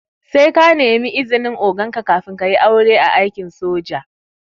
Sai ka nemi izinin oganka kafin kayi aure a aikin soji